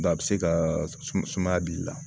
a bɛ se ka sumaya b'i la